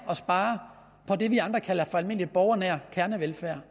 og sparer på det vi andre kalder for almindelig borgernær kernevelfærd